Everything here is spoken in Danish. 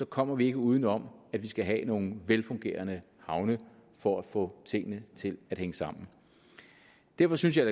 kommer vi ikke uden om at vi skal have nogle velfungerende havne for at få tingene til at hænge sammen derfor synes jeg